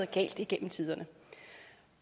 galt igennem tiderne